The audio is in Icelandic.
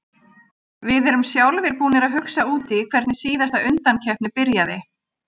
Við erum sjálfir búnir að hugsa út í hvernig síðasta undankeppni byrjaði.